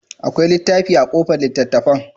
Akwai littafi a kobar littattafan?